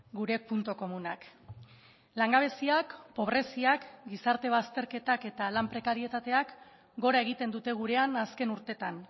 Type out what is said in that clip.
gure puntu komunak langabeziak pobreziak gizarte bazterketak eta lan prekarietateak gora egiten dute gurean azken urteetan